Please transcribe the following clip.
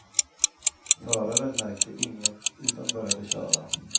Föraren märkte inget utan började köra.